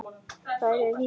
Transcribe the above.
Þar er vísan svona